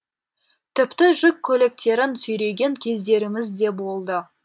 тіпті жүк көліктерін сүйреген кездеріміз де болды